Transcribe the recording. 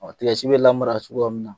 bɛ lamara cogoya min na